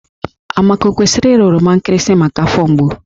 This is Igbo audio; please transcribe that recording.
Amaka o kwesịrị ịra oroma nkịrịsị maka afọ mgbu?